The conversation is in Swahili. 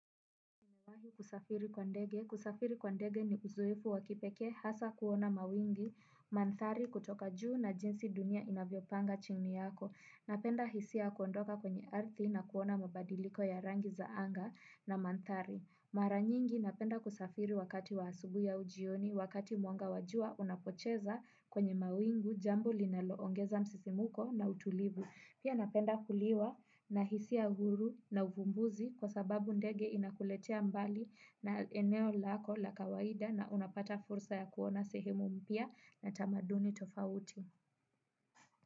Kusafiri kwa ndege ni uzoefu wa kipekee hasa kuona mawingi, manthari kutoka juu na jinsi dunia inavyopanga chini yako. Napenda hisia ya kuondoka kwenye ardhi na kuona mabadiliko ya rangi za anga na manthari. Mara nyingi napenda kusafiri wakati wa asubuhi au jioni, wakati mwanga wa jua unapocheza kwenye mawingu jambo linaloongeza msisimko na utulivu. Pia napenda kuliwa na hisia huru na uvumbuzi kwa sababu ndege inakuletea mbali na eneo lako la kawaida na unapata fursa ya kuona sehemu mpya na tamaduni tofauti.